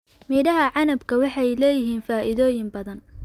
Midhaha canabka waxay leeyihiin faa'iidooyin badan.